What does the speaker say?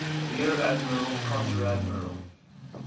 rear admiral konteradmiral